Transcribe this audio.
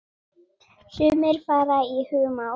Sumir fara í humátt.